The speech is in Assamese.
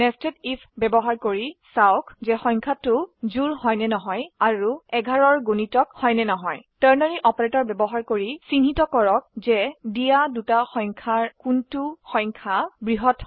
00816023 000828 nested if ব্যবহাৰ কৰি চাওক যে সংখ্যাটি জোড় হয় নে নহয় আৰু11 এৰ গুনিতক হয় নে নহয় Ternary অপাৰেটৰ ব্যবহাৰ কৰি চিহ্নিত কৰক যে দিয়া দুটি সংখ্যা কোনটি সংখ্যা বৃহত হয়